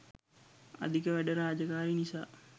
අධික වැඩ රාජකාරී නිසා